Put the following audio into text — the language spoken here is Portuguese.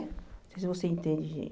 Não sei se você entende, gente.